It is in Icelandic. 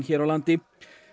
hér á landi